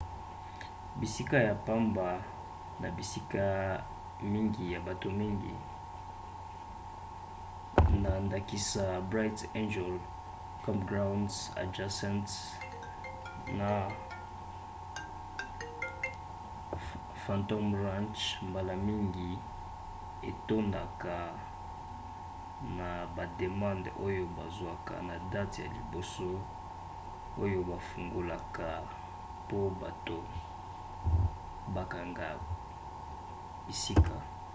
bisika ya pamba na bisika mingi ya bato mingi na ndakisa bright angel campground adjacent na phantom ranch mbala mingi etondaka na bademande oyo bazwaka na date ya liboso oyo bafungolaka po bato bakanga bisika